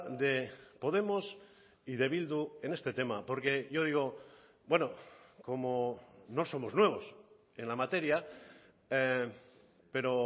de podemos y de bildu en este tema porque yo digo bueno como no somos nuevos en la materia pero